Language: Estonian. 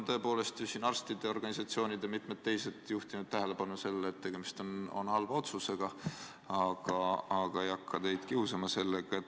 Arstide organisatsioonid ja mitmed teised on juhtinud tähelepanu sellele, et tegemist on halva otsusega, aga ma ei hakka teid sellega kiusama.